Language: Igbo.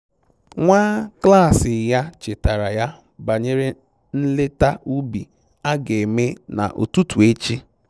Nwa klaasị ya chetaara ya banyere nleta ubi a ga-eme na ụtụtụ echi